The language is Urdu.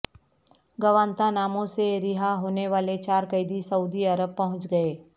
گوانتانامو سے رہا ہونے والے چار قیدی سعودی عرب پہنچ گئے